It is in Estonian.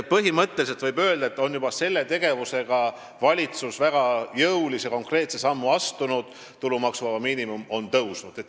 Põhimõtteliselt võib öelda, et juba selle tegevusega on valitsus väga jõulise ja konkreetse sammu astunud, tulumaksuvaba miinimum on tõusnud.